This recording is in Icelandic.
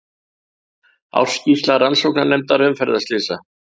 Ársskýrsla Rannsóknarnefndar umferðarslysa